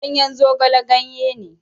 Ganyen zogale ganye ne.